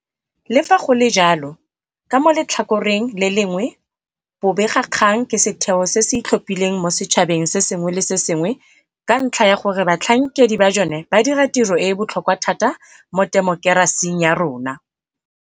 Le fa go le jalo, ka mo letlhakoreng le lengwe bobegakgang ke setheo se se itlhophileng mo setšhabeng se sengwe le se sengwe ka ntlha ya gore batlhankedi ba jone ba dira tiro e e botlhokwa thata mo temokerasing ya rona.